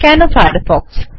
কেন ফায়ারফ্ক্ষ